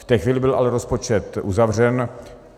V té chvíli byl ale rozpočet uzavřen.